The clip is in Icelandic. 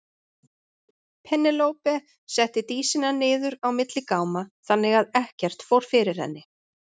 Penélope setti Dísina niður á milli gáma þannig að ekkert fór fyrir henni.